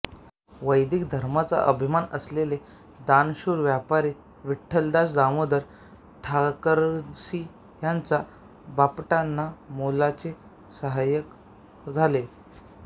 वैदिक धर्माचा अभिमान असलेले दानशूर व्यापारी विठ्ठलदास दामोदर ठाकरसी ह्यांचे बापटांना मोलाचे साहाय्य झाले